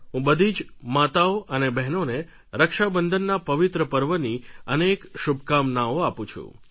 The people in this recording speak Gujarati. હું બધી જ માતાઓ અને બહેનોને રક્ષાબંધનના પવિત્ર પર્વની અનેક શુભકામનાઓ આપું છું